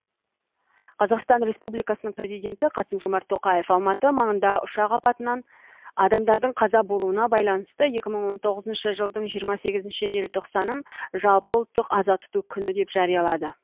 қазақстан республикасының президенті қасым жомарт тоқаев алматы маңында ұшақ апатынан адамдардың қаза болуына байланысты екі мың он тоғызыншы жылдың жиырма сегізінші желтоқсанын жалпыұлттық аза тұту күні деп жариялады